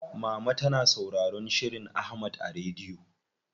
Mama tana sauraron shirin Ahmad a rediyo.